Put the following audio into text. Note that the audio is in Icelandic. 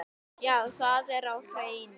Já, það er á hreinu.